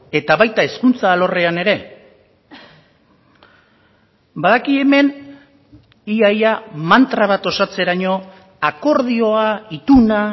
eta baita hezkuntza alorrean ere badaki hemen ia ia mantra bat osatzeraino akordioa ituna